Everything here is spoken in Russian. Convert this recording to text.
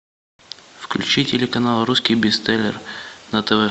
включи телеканал русский бестселлер на тв